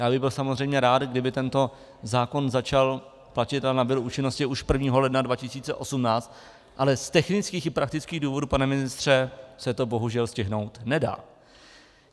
Já bych byl samozřejmě rád, kdyby tento zákon začal platit a nabyl účinnosti už 1. ledna 2018, ale z technických i praktických důvodů, pane ministře, se to bohužel stihnout nedá.